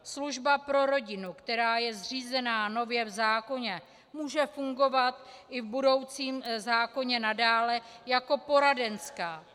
Služba pro rodinu, která je zřízena nově v zákoně, může fungovat i v budoucím zákoně nadále jako poradenská.